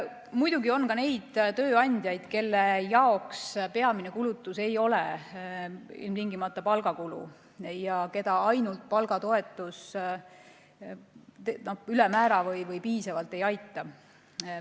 Muidugi on ka neid tööandjaid, kelle jaoks peamine kulutus ei ole ilmtingimata palgakulu ja keda ainult palgatoetus piisavalt ei aita.